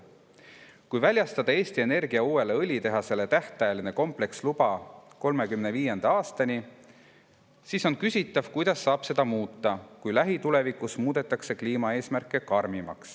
"Kui väljastada Eesti Energia uuele õlitehasele tähtajaline kompleksluba 2035. aastani, siis on küsitav, kuidas saab seda muuta, kui lähitulevikus muudetakse kliimaeesmärke karmimaks.